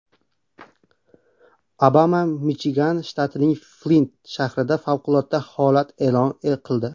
Obama Michigan shtatining Flint shahrida favqulodda holat e’lon qildi.